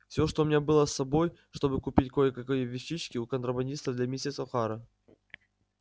все что у меня было с собой чтобы купить кой-какие вещички у контрабандистов для миссис охара